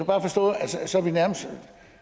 så lider vi nærmest